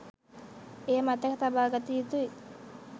එය මතක තබාගත යුතුයි